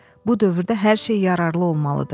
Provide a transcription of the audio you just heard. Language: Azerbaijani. Bu dövrdə hər şey yararlı olmalıdır.